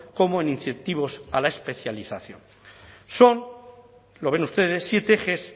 como en incentivos a la especialización son lo ven ustedes siete ejes